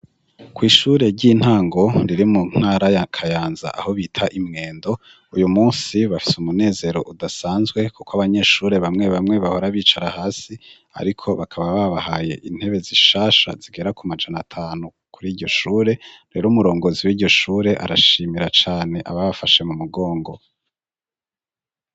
kwishure ry'intango riri mu ntara ya kayanza aho bita imwendo uyu munsi bafise umunezero udasanzwe kuko abanyeshure bamwe bamwe bahora bicara hasi ariko bakaba babahaye intebe zishasha zigera ku majana atanu kuri iryo shure rero umurongozi w'iryo shure arashimira cane ababafashe mu mugongo